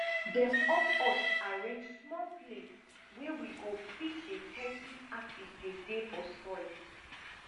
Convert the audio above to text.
dem up us arrange small place wey we go fit dey test if acid dey dey for soil